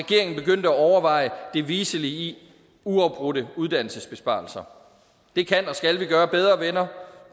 overveje det viselige i uafbrudte uddannelsesbesparelser det kan og skal vi gøre bedre venner